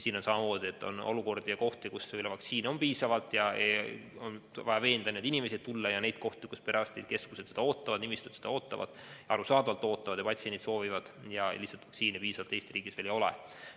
Siin on samamoodi, et on kohti, kus vaktsiini on piisavalt ja inimesi on vaja veenda vaktsineerima tulema, ning on kohti, kus perearstikeskused vaktsiini ootavad ja ka patsiendid soovivad seda, aga vaktsiini lihtsalt Eesti riigis veel piisavalt ei ole.